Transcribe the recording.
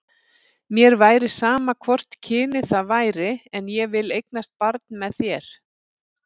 Mér væri sama hvort kynið það væri, en ég vil eignast barn með þér.